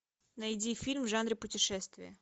найди фильм в жанре путешествия